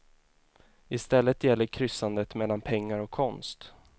I stället gäller kryssandet mellan pengar och konst.